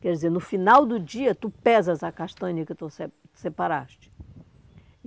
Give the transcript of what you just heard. Quer dizer, no final do dia, tu pesas a castanha que tu se separaste.